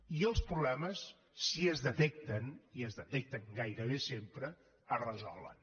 i els problemes si es detecten i es detecten gairebé sempre es resolen